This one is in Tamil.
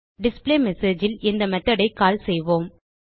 டிஸ்பிளேமெஸேஜ் ல் இந்த மெத்தோட் ஐ கால் செய்வோம்